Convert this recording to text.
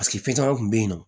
caman kun bɛ yen nɔ